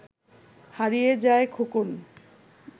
হারিয়ে যায় খোকন